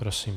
Prosím.